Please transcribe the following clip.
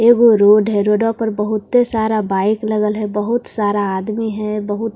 ऐगो रोड है रोडो पर बहुत सारा बाइक लगल है बहुत सारा आदमी है बहुत --